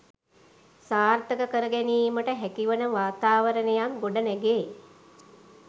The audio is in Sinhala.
සාර්ථක කර ගැනීමට හැකිවන වාතාවරණයක් ගොඩනැගේ.